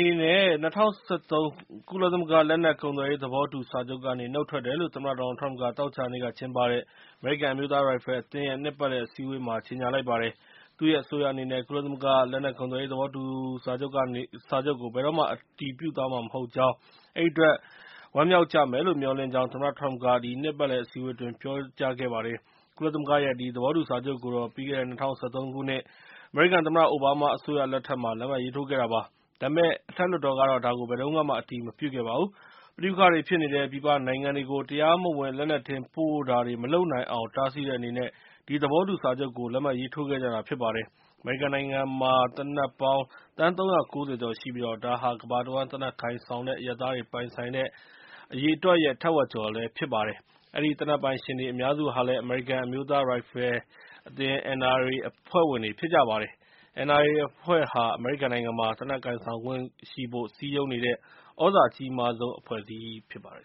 ေနဲ့ ၂၀၁၃ ကုလသမဂ္ဂ လက်နက်ကုန်သွယ်ရေး သဘောတူညီချက်ကနေ နုတ်ထွက်တယ်လို့ သမ္မတ ဒေါ်နယ်လ်ထရမ့်က သောကြာနေ့ကကျင်းပတဲ့ အမေရိကန် အမျိုးသားရိုင်ဖယ်အသင်းရဲ့ နှစ်ပတ်လည် အစည်းအဝေးမှာ ကြေငြာလိုက်ပါတယ်။ သူ့ရဲ့ အစိုးရအနေနဲ့ ကုလသမဂ္ဂ လက်နက်ကုန်သွယ်ရေး သဘောတူညီချက်ကို ဘယ်တော့မှ အတည်ပြုသွားမှာ မဟုတ်ကြောင်း အဲဒီအတွက် ခင်ဗျားတို့ ဝမ်းမြောက်ကြမယ်လို့ မျှော်လင့်ကြောင်း သမ္မတထရမ့်က ဒီနှစ်ပတ်လည် အစည်းအဝေးအတွင်း ပြောပါတယ်။ ကုလသမဂ္ဂရဲ့ ဒီသဘောတူစာချုပ်ကိုတော့ ပြီးခဲ့တဲ့ ၂၀၁၃ ခုနှစ် အမေရိကန် သမ္မတအိုဘားမား အစိုးရလက်ထက်မှာ လက်မှတ်ရေးထိုးခဲ့တာပါ။ ဒါပေမဲ့ အထက်လွှတ်တော်ကတော့ ဒါကို ဘယ်တုန်းကမှ အတည်မပြုခဲ့ပါဘူး။ ပဋိပက္ခတွေဖြစ်နေတဲ့ ပြည်ပနိုင်ငံတွေကို တရားမဝင် လက်နက်တင်ပို့တာတွေ မလုပ်နိုင်အောင် တားဆီးတဲ့အနေနဲ့ ဒီသဘောတူစာချုပ်ကို လက်မှတ်ရေးထိုးထားကြတာ ဖြစ်ပါတယ်။ အမေရိကန်နိုင်ငံမှာ သေနတ်ပေါင်း သန်း ၃၉၀ ကျော်ရှိပြီး ဒါဟာ ကမ္ဘာတဝှမ်း သေနတ်ကိုင်ဆောင်တဲ့ အရပ်သားတွေ ပိုင်ဆိုင်တဲ့ အရေအတွက်ရဲ့ ထက်ဝက်ကျော်ဖြစ်ပါတယ်။ အဲဒီသေနတ်ပိုင်ရှင်တွေ အများစုဟာလည်း အမေရိကန်အမျိုးသားရိုင်ဖယ်အသင်း NRA အဖွဲ့ဝင်တွေဖြစ်ကြပါတယ်။ NRA အဖွဲ့ဟာ အမေရိကန်နိုင်ငံမှာ သေနတ်ကိုင်ဆောင်ခွင့်ရှိဖို့ စည်းရုံးနေတဲ့ သြဇာအကြီးမားဆုံး အဖွဲ့အစည်းဖြစ်ပါတယ်